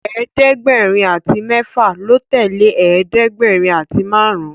ẹ̀ẹ́dẹ̀gbẹ̀rin àti méfà ló tẹlẹ ẹ̀ẹ́dẹ̀gbẹ̀rin àti márùn